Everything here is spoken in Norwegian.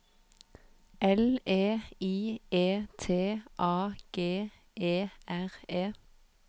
L E I E T A G E R E